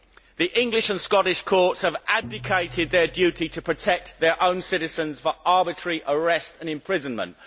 The English and Scottish courts have abdicated their duty to protect their own citizens from arbitrary arrest and imprisonment.